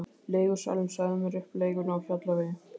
Leigusalinn sagði mér upp leigunni á Hjallavegi.